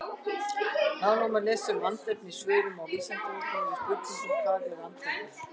Nánar má lesa um andefni í svörum á Vísindavefnum við spurningunum Hvað er andefni?